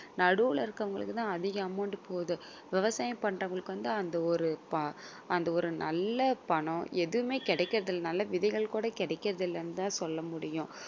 நடுவுல இருக்குறவங்களுக்கு தான் அதிக amount போகுது. விவசாயம் பண்றவங்களுக்கு வந்து அந்த ஒரு ப~ அந்த ஒரு நல்ல பணம் எதுவுமே கிடைக்கிறது இல்ல. நல்ல விதைகள் கூட கிடைக்கிறதில்லன்னு தான் சொல்ல முடியும்